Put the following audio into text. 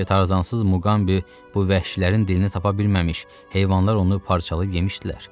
Bəlkə tarzansız Muqambi bu vəhşilərin dilini tapa bilməmiş, heyvanlar onu parçalayıb yemişdilər.